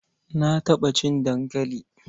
Na taɓa cin dankali.